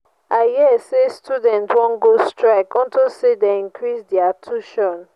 i hear say students wan go strike unto say dey increase their tuition.